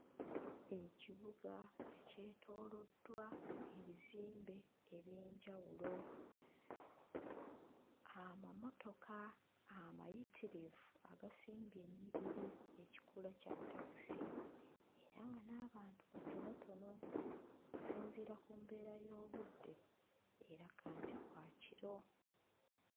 Ekibuga ekyetooloddwa ebizimbe eby'enjawulo, amamotoka amayitirivu agasimbye ennyiriri ekikula kya takisi era nga n'abantu batonotono okusinziira ku mbeera y'obudde eraga nti bwa kiro.